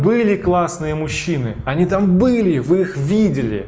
были классные мужчины они там были вы их видели